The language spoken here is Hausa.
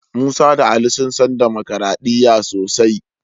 Musa da Ali sun san damakaraɗiya sosai.